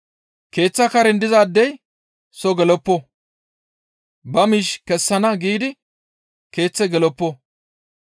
Keeththa karen dizaadey soo geloppo; ba miish kessana giidi keeththe geloppo.